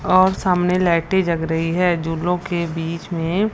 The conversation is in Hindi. और सामने लाइटे जग रही है झूलो के बीच में--